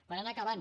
per anar acabant